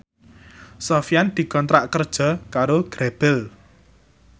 Sofyan dikontrak kerja karo Grebel